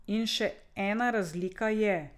In še ena razlika je.